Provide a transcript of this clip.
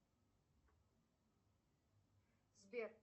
сбер